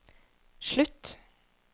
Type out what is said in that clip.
slutt